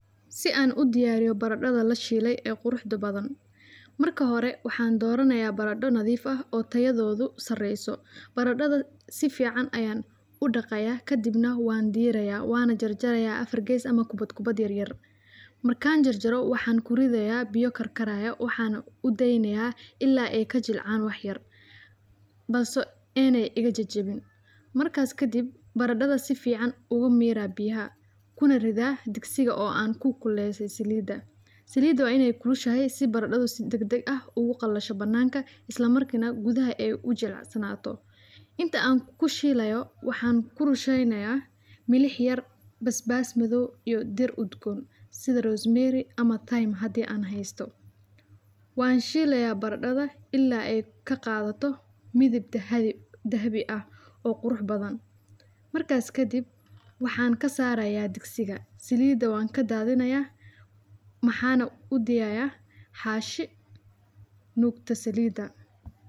Si aan u diyaariyo baradhada la shiileeyay ee qurxadda badan. Marka hore waxaan dooranayaa baradho nadiif ah oo tayadoodu sareyso. Baradhada si fiican ayan u dhaqaya. Ka dibna waan diirayaa waana jarjarayaa afar geyser ama kubad kubad yar yar. Markaan jarjaro waxaan ku ridayaa biyo karkaraya waxaana u deynayaa ilaa ay ka jilcaan wax yar balse eeney iga jajabin. Markaas ka dib baradhadas si fiican uga miira biyaha kuna ridaa degsiga oo aan ku kuleysay saliida. Saliidu waa inay kuluushahay si baradhadu si degdeg ah ugu qalasho banaanka isla markina gudaha ay u jelcanaato. Inta aan ku shiilayo waxaan kuluushaynaya milix yar basbaas madow iyo der udgoon sida rosemary ama thyme haddii aan haysto. Waan shiilayaa baradhada illaa ay ka qaadato midib dahabi ah oo qurux badan. Markaas ka dib waxaan ka saarayaa degsiga. Saliida waan ka daadinayaa maxaan u diyaaya xaashi muugta saliida.